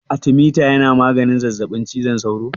Artemeta yana magance zazzaɓin cizon sauro?